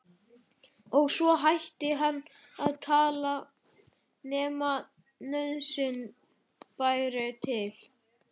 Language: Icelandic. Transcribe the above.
Og svo hætti hann að tala nema nauðsyn bæri til.